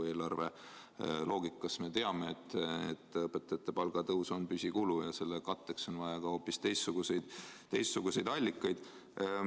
Eelarve loogika järgi me teame, et õpetajate palgatõus on püsikulu ja selle katteks on vaja hoopis teistsuguseid allikaid.